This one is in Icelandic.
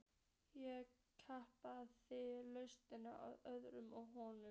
Ég klappaði laust á öxlina á honum.